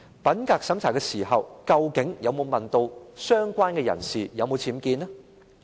品格審查時，究竟有否問相關人士有否僭建？